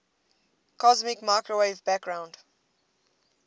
cosmic microwave background